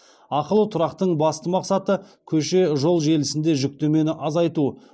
ақылы тұрақтың басты мақсаты көше жол желісінде жүктемені азайту